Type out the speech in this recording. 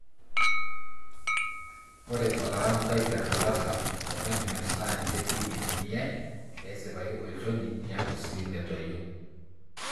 Ore olarambai Petrolatum o ointments naa ninche pii itumiyae pesipayu olchoni niaku sii metoyio.